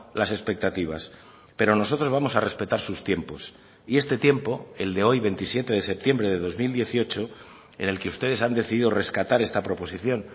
las expectativas pero nosotros vamos a respetar sus tiempos y este tiempo el de hoy veintisiete de septiembre de dos mil dieciocho en el que ustedes han decidido rescatar esta proposición